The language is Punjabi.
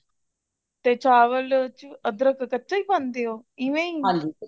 ਤੇ ਚਾਵਲ ਵਿੱਚ ਅਦ੍ਰਖ ਕੱਚਾ ਹੀ ਖਾਨਿਓਂ ਇਵੇ ਹੀ